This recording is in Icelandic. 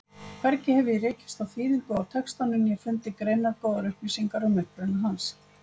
Hvergi hef ég rekist á þýðingu á textanum né fundið greinargóðar upplýsingar um uppruna hans.